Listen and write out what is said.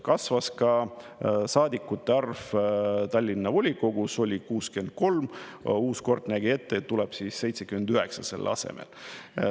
Kasvas ka saadikute arv Tallinna volikogus: oli 63, uus kord nägi ette, et tuleb 79 selle asemel.